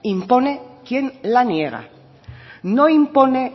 impone quien la niega no impone